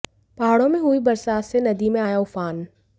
पहाड़ों में हुई बरसात से नदी में आया उफान